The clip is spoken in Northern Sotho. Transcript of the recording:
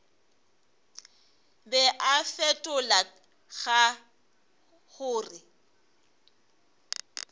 be a fetola ka gore